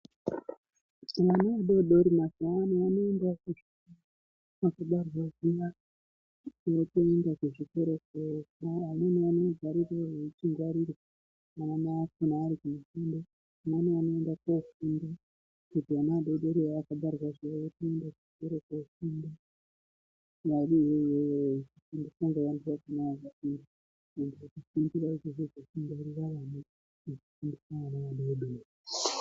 Mwana vadodori mazuwa ano vanoendawo kuzvikora mukubarwa zviya vanotoenda kuzvikora .......ana mai akhona ari kofunda amweni anoenda kofunda kuti ana adodori achabarwa zviya otoenda kuchikora kofunda ...................nekufundisa vana vadodori.